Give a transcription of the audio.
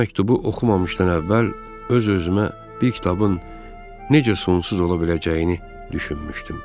Bu məktubu oxumamışdan əvvəl öz-özümə bir kitabın necə sonsuz ola biləcəyini düşünmüşdüm.